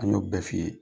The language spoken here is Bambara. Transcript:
An y'o bɛɛ f'i ye